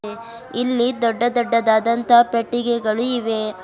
ಇಲ್ಲಿ ದೊಡ್ಡ ದೊಡ್ಡದಾದಂತಹ ಪೆಟ್ಟಿಗೆಗಳು ಇವೆ.